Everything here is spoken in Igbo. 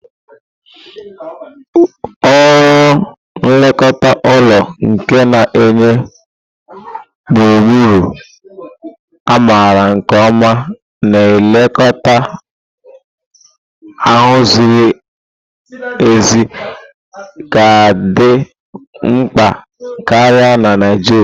Ọrụ nlekọta ụlọ nke na-enye gburugburu a maara nke ọma na nlekọta ahaziri ahazi ga-adị mkpa karịa na Naijiria.